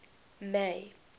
may